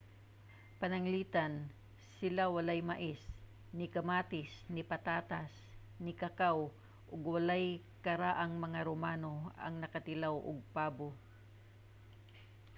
pananglitan sila walay mais ni kamatis ni patatas ni kakaw ug walay karaang mga romano ang nakatilaw og pabo